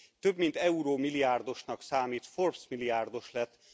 több mint eurómilliárdosnak számít, Forbes milliárdos lett.